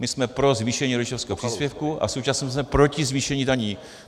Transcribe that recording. My jsme pro zvýšení rodičovského příspěvku a současně jsme proti zvýšení daní.